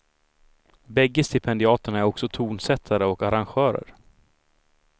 Bägge stipendiaterna är också tonsättare och arrangörer.